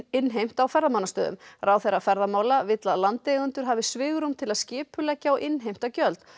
innheimt á ferðamannastöðum ráðherra ferðamála vill að landeigendur hafi svigrúm til að skipuleggja og innheimta gjöld